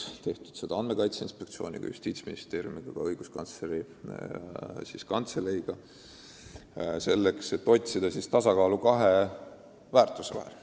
Seda on tehtud Andmekaitse Inspektsiooniga, Justiitsministeeriumi ja ka Õiguskantsleri Kantseleiga, et otsida tasakaalu väärtuste vahel,